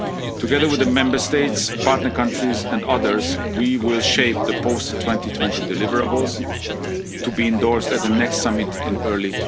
into practice. Together with the Member States, partner countries and others, we will shape the post 2020 deliverables, to be endorsed at the next